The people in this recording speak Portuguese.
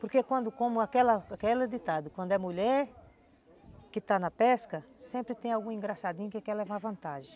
Porque como como aquela aquele ditado, quando é mulher que está na pesca, sempre tem algum engraçadinho que quer levar vantagem.